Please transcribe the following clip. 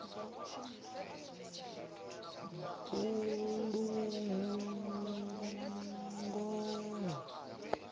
bulugwane